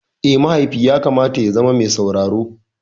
Eh, mahaifi yakamata ya zama me sauraro.